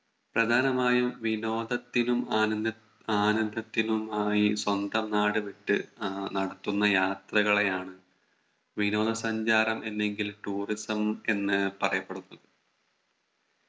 പ്രധാനമായും വിനോദത്തിനും ആനന്ദ ആനന്ദത്തിനും ആയി സ്വന്തം നാട് വിട്ട് ആഹ് നടത്തുന്ന യാത്രകളെയാണ് വിനോദ സഞ്ചാരം അല്ലെങ്കിൽ Tourism എന്ന് പറയപ്പെടുന്നത്